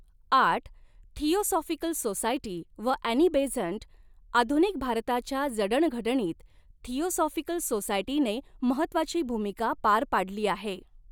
आठ theosophical society व Annie Besant आधुनिक भारताच्या जडणघडणीत थिऑसॉफिकल सोसायटीने महत्त्वाची भूमिका पार पाडली आहे.